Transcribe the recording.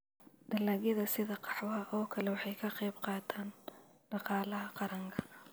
Dalagyada sida qaxwaha oo kale waxay ka qayb qaataan dhaqaalaha qaranka.